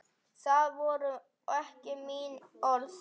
Það voru ekki mín orð